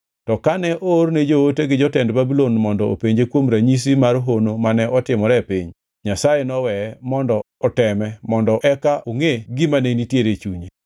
To kane oorne joote gi jotend Babulon mondo openje kuom ranyisi mar hono mane otimore e piny, Nyasaye noweye mondo oteme mondo eka ongʼe gima ne nitiere e chunye.